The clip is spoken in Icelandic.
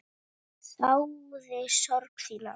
Þáði sorg þína.